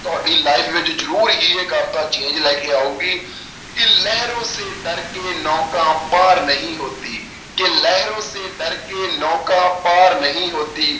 ਤੁਹਾਡੀ life ਵਿੱਚ ਜ਼ਰੂਰ ਹੀ ਇਹ ਕਵਿਤਾ change ਲੈ ਕੇ ਆਊਗੀ ਕਿ ਲਹਿਰੋਂ ਸੇ ਡਰ ਕੇ ਨੋਕਾ ਪਾਰ ਨਹੀਂ ਹੋਤੀ ਕਿ ਲਹਿਰੋਂ ਸੇ ਡਰਕੇ ਨੋਕਾ ਪਾਰ ਨਹੀਂ ਹੋਤੀ,